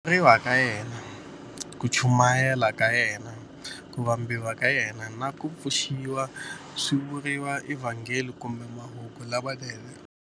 Ku tswariwa ka yena, ku chumayela ka yena, ku vambiwa ka yena, na ku pfuxiwa swi vuriwa eVhangeli kumbe Mahungu lamanene.